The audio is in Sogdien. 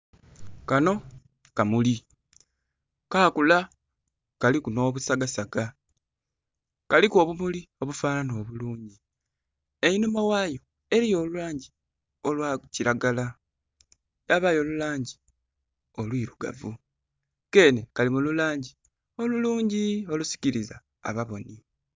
Kanho kamuli, kakula kaliku nh'obusagasaga, kaliku obumuli obufananha obulungi. Einhuma ghayo eliyo olulangi olwa kilagala yabayo olulangi olwirugavu. Keenhe kali mu lulangi olulungi olusikiliza ababonhi.